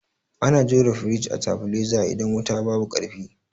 Ana jona firij a tabileza idan wuta babu ƙarfi.